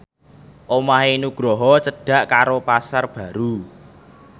omahe Nugroho cedhak karo Pasar Baru